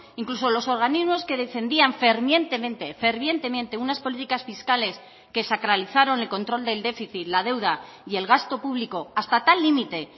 incluso los organismos que defendían fervientemente fervientemente unas políticas fiscales que sacralizaron el control del déficit la deuda y el gasto público hasta tal límite